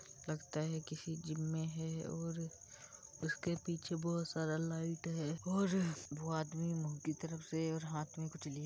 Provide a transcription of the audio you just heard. लगता है किसी जिम में है और उसके पीछे बहोत सारा लाइट है और वो आदमी मुँह की तरफ से और हाथ में कुछ --